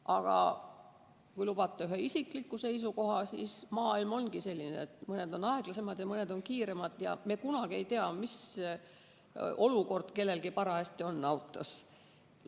Aga kui lubate esitada ühe isikliku seisukoha, siis ütlen, et maailm ongi selline, et mõni on aeglasem ja mõni kiirem, ja me kunagi ei tea, mis olukord kellelgi parajasti autos on.